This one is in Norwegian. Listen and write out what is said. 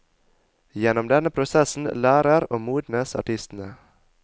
Gjennom denne prosessen lærer og modnes artistene.